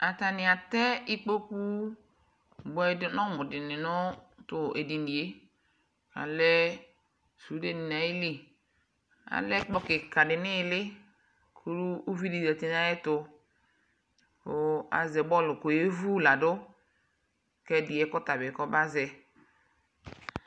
atanɩ atɛ ikpoku buamʊ dɩnɩ nʊ tʊ edini yɛ, alɛ sũndenɩ nʊ ayili, alɛ ɛkplɔ kikadɩ nʊ iili, kʊ uvidɩ zati nʊ ay'ɛtʊ, kʊ azɛ utoku kʊ oyevu ladʊ kʊ ɛdɩ yɛ kɔma zɛ yi